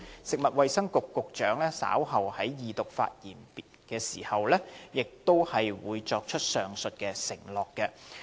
食物及衞生局局長稍後就恢復二讀辯論發言時，亦會作出上述承諾。